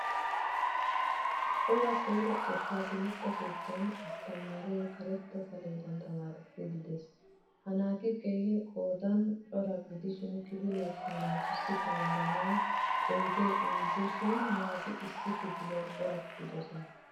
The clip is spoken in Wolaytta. Cora koyro xekka timirtte keettan asttamaare karetta saledan tamaarissid de'ees. Ha naati keehin qoodan cora gidishin kifilekka ha naatussi tamaaranawu oyde injje shin naati issi kifiliyan corattidosona.